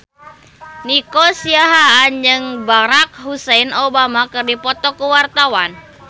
Nico Siahaan jeung Barack Hussein Obama keur dipoto ku wartawan